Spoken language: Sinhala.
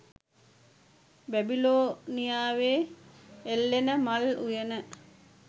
බැබිලෝනියාවේ එල්ලෙන මල් උයන